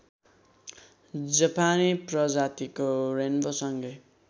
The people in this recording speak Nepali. जापानी प्रजातिको रेन्वोसँगै